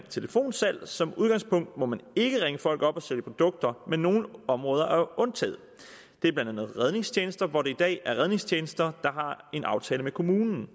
telefonsalg som udgangspunkt må man ikke ringe folk op og sælge produkter men nogle områder er undtaget det er blandt andet redningstjenester hvor det i dag er redningstjenester der har en aftale med kommunen